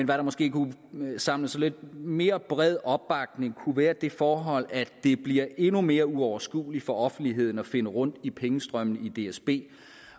der måske kunne samle lidt mere bred opbakning kunne være det forhold at det bliver endnu mere uoverskueligt for offentligheden at finde rundt i pengestrømmene i dsb